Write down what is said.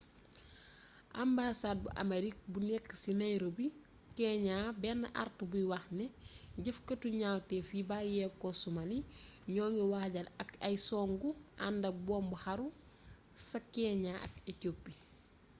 ambasaad bu aamerig bu nekk ci nairobi keeñaa benn artu buy wax ne jëfkaatu ñawtef yi bàyyeeko somali'' ñoo ngi waajal ay songu àndak buum xaru ca keeñaa ak ecoopi